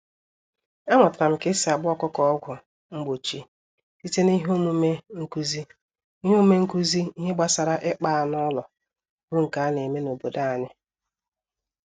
Amụtaram K'esi agba ọkụkọ ọgwụ mgbochi, site n'ihe omume nkụzi ìhè omume nkụzi ìhè gbasara ịkpa anụ ụlọ, bu nke aneme n'obodo anyị.